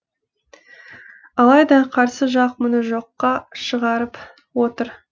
алайда қарсы жақ мұны жоққа шығарып отыр